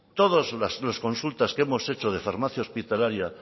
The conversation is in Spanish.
todas las consultas que hemos hecho de farmacia hospitalaria